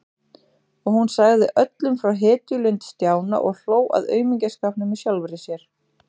Og hún sagði öllum frá hetjulund Stjána og hló að aumingjaskapnum í sjálfri sér.